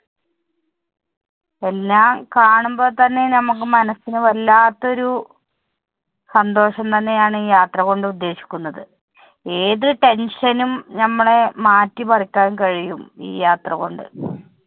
എല്ലാം കാണുമ്പോൾ തന്നെ നമുക്ക് മനസ്സിന് വല്ലാത്ത ഒരു സന്തോഷം തന്നെ ആണ് ഈ യാത്ര കൊണ്ട് ഉദ്ദേശിക്കുന്നത്, ഏതു tension നും ഞമ്മള് മാറ്റിമറിക്കാൻ കഴിയും ഈ യാത്ര കൊണ്ട്.